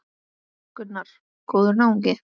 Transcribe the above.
Gunnar: Góður náungi?